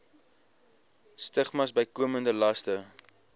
stigmas bykomende laste